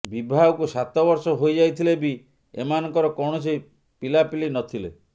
ବିବାହକୁ ସାତ ବର୍ଷ ହୋଇ ଯାଇଥିଲେ ବି ଏମାନଙ୍କର କୌଣସି ପିଲାପିଲି ନଥିଲେ